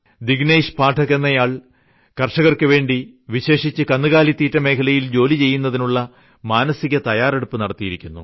ദിനേശ് പാഠക് എന്നയാൾ കർഷകർക്കുവേണ്ടി വിശേഷിച്ച് കന്നുകാലിതീറ്റ മേഖലയിൽ ജോലി ചെയ്യുന്നതിനുള്ള മനസിക തയ്യാറെടുപ്പ് നടത്തിയിരിക്കുന്നു